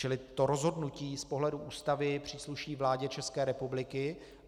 Čili to rozhodnutí z pohledu Ústavy přísluší vládě České republiky.